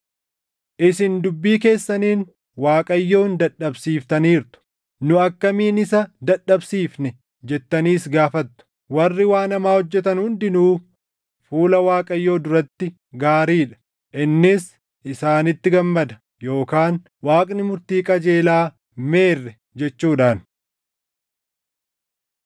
Isin dubbii keessaniin Waaqayyoon dadhabsiiftaniirtu. “Nu akkamiin isa dadhabsiifne?” jettaniis gaafattu. “Warri waan hamaa hojjetan hundinuu fuula Waaqayyoo duratti gaarii dha; innis isaanitti gammada” yookaan “Waaqni murtii qajeelaa meerre?” jechuudhaan.